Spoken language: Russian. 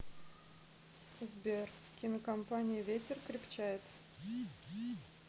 сбер кинокомпания ветер крепчает